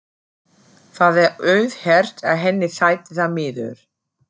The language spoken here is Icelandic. Það er auðheyrt að henni þætti það miður.